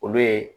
Olu ye